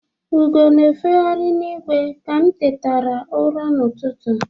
Ugo na-efeghari n'igwe ka m tetara ụra n'ụtụtụ.